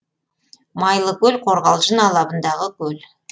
майлыкөл қорғалжын алабындағы көл